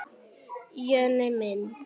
Jonni minn!